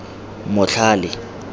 motlhale